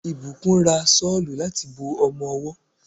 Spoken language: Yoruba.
Ìbùkún ra Ṣọ́lù láti bo ọmọwọ́.